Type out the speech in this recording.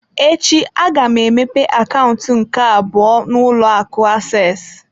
Echi, aga m emepe akaụntụ m nke abụọ n'ụlọ akụ access.